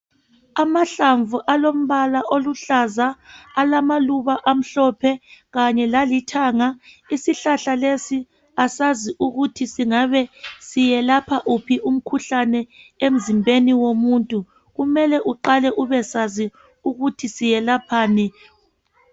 Amahlamvu alombala oluhlaza alamaluba amhlophe kanye lalithanga. Isihlahla lesi asazi ukuthi singabe siyelapha wuphi umkhuhlane emzimbeni womuntu. Kumele uqale ubesazi ukuthi selaphani.